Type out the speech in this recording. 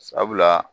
Sabula